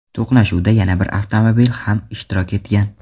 To‘qnashuvda yana bir avtomobil ham ishtirok etgan.